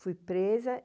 Fui presa.